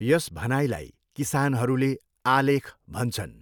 यस भनाइलाई किसानहरूले आलेख भन्छन्।